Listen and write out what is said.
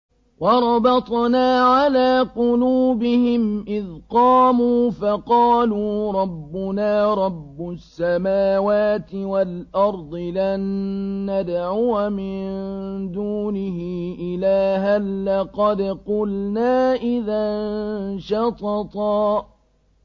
وَرَبَطْنَا عَلَىٰ قُلُوبِهِمْ إِذْ قَامُوا فَقَالُوا رَبُّنَا رَبُّ السَّمَاوَاتِ وَالْأَرْضِ لَن نَّدْعُوَ مِن دُونِهِ إِلَٰهًا ۖ لَّقَدْ قُلْنَا إِذًا شَطَطًا